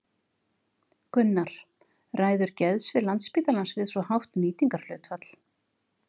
Gunnar: Ræður geðsvið Landspítalans við svo hátt nýtingarhlutfall?